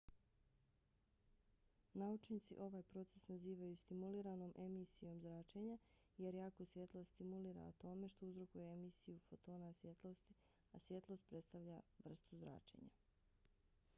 naučnici ovaj proces nazivaju stimuliranom emisijom zračenja jer jarko svjetlo stimulira atome što uzrokuje emisiju fotona svjetlosti a svjetlost predstavlja vrstu zračenja